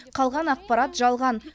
қалған ақпарат жалған